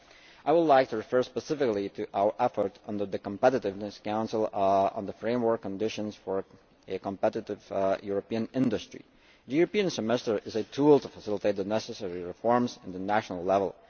I would like to refer specifically to our effort under the Competitiveness Council on the framework conditions for a competitive European industry. The European Semester is a tool to facilitate the necessary reforms at national level.